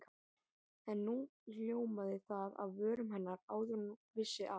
En nú hljómaði það af vörum hennar áður en hún vissi af.